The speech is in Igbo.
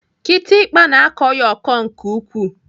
Kịtịkpa na-akọ ya ọkọ nke ukwuu.